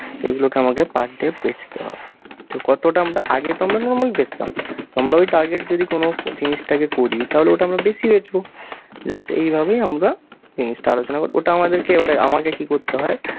তো এগুলো কে আমাকে per day বেঁচতে হবে। তো কতটা আমরা আগে তো আমরা normally বেঁচতাম তো আমরা ওই target যদি কোনো জিনিসটাকে করি তাহলে ওটা আমরা বেশি বেঁচবো। just এইভাবেই আমরা জিনিসটা আলোচনা করি। ওটা আমাদেরকে এবারে আমাকে কী করতে হয়,